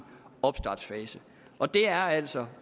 opstartsfase og det er altså